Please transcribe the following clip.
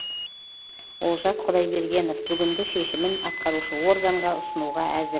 олжас құдайбергенов бүгінгі шешімін атқарушы органға ұсынуға әзір